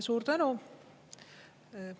Suur tänu!